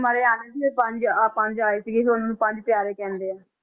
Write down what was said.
ਮਾਰੇ ਪੰਜ ਅਹ ਪੰਜ ਆਏ ਸੀਗੇ, ਫਿਰ ਉਹਨਾਂ ਨੂੰ ਪੰਜ ਪਿਆਰੇ ਕਹਿੰਦੇ ਆ।